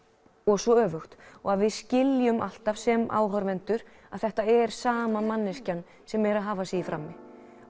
svo öfugt og að við skiljum alltaf sem áhorfendur að þetta er sama manneskjan sem er að hafa sig í frammi